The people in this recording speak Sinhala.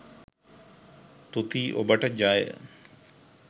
තුති ඔබට ජය.